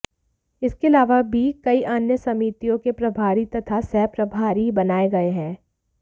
इसके अलावा भी कई अन्य समितियों के प्रभारी तथा सहप्रभारी बनाए गये हैं